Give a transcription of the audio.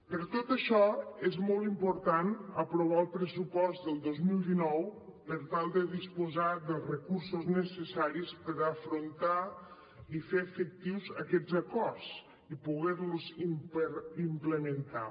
per tot això és molt important aprovar el pressupost del dos mil dinou per tal de disposar dels recursos necessaris per afrontar i fer efectius aquests acords i poder los implementar